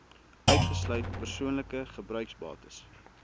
uitgesluit persoonlike gebruiksbates